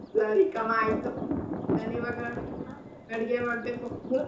ಸರಿ ಕಮ್ಮ ಆಯ್ತು ನಾನ್ ಈವಾಗ ಅಡ್ಗೆ ಮಾಡ್ಬೇಕು .